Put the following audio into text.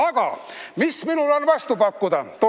Aga mis minul on vastu pakkuda?